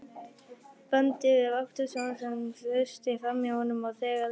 bandi við vaktstjórann, sem þusti framhjá honum, og þegar